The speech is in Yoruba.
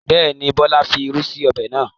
Bẹ́ẹ̀ni, Bọlá fi irú sí ọbẹ̀ náà.